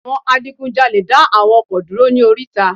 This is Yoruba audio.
Àwọn adigun jalè dá àwọn ọkọ̀ dúró ní oríta